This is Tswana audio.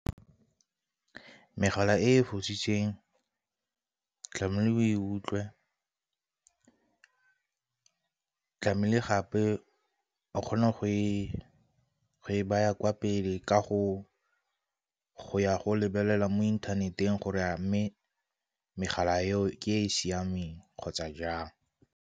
Megala e fositsweng tlamehile o e utlwe, tlamehile gape o kgona go e e baya kwa pele ka go ya go lebelela mo inthaneteng gore a mme megala eo e e siameng kgotsa jang.